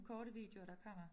Korte videoer der kommer